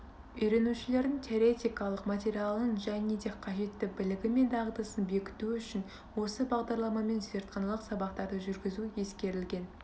үйренушілердің теоретикалық материалын және де қажетті білігі мен дағдысын бекіту үшін осы бағдарламамен зертханалық сабақтарды жүргізу ескерілген